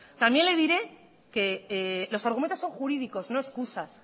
también le diré que los argumentos son jurídicos no excusas